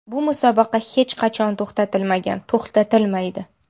Bu musobaqa hech qachon to‘xtatilmagan, to‘xtatilmaydi.